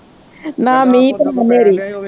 ਨਾ ਮੀਂਹ ਤੇ ਹਨੇਰੀ।